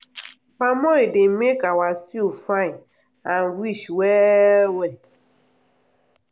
palm oil dey make our stew fine and rich well well.